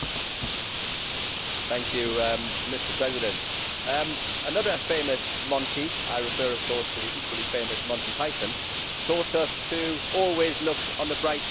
Mr President, another famous Monty I refer of course to the equally famous Monty Python taught us to always look on the bright side of life.